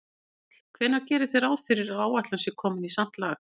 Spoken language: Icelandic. Páll: Hvenær gerið þið ráð fyrir að áætlun sé komin í samt lag?